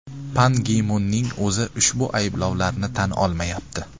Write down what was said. Pan Gi Munning o‘zi ushbu ayblovlarni tan olmayapti.